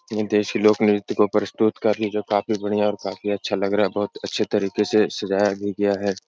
ये देशी लोग नृत्य को प्रस्तुत कर री जो काफी बढ़िया और काफी अच्छा लग रहा है बहोत अच्छे तरीके से सजाया भी गया है।